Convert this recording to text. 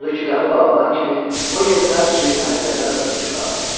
Odur ki, qapı bağlanan kimi o yerindən sıçrayıb pəncərədən özünü çölə atdı.